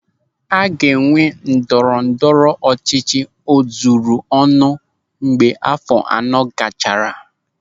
A ga-enwe ndọrọ ndọrọ ọchịchị o zuru ọnụ mgbe áfọ̀ anọ gachara.